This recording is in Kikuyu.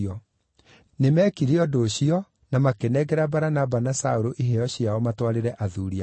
Nĩmekire ũndũ ũcio, makĩnengera Baranaba na Saũlũ iheo ciao matwarĩre athuuri a kanitha.